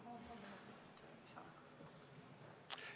Palun kolm minutit lisaaega!